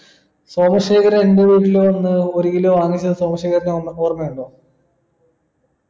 സോമശേഖരാ എൻ്റെ വീട്ടിലു വന്ന് ഒരു കിലോ വാങ്ങിച്ചത് സോമശേഖരന് ഒന്ന് ഓർമയുണ്ടോ